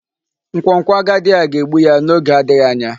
Nkwonkwo agadi a ga-egbu ya n'oge adịghị anya.